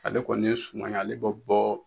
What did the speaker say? Ale kɔni nin suma ye, ale bɛ bɔ